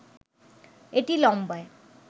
এটি লম্বায়